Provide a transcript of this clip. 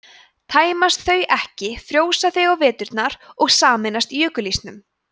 tæmist þau ekki frjósa þau á veturna og sameinast jökulísnum